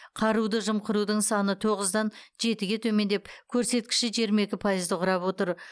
қаруды жымқырудың саны тоғыздан жетіге төмендеп көрсеткіші жиырма екі пайызды құрап отыр